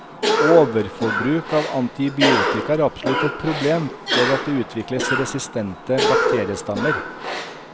Overforbruk av antibiotika er absolutt et problem ved at det utvikles resistente bakteriestammer.